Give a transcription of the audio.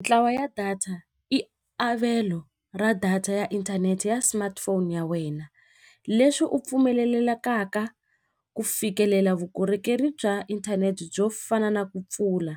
Ntlawa ya data i avelo ra data ya inthanete ya smartphone ya wena leswi u pfumelelekaka ku fikelela vukorhokeri bya inthanete byo fana na ku pfula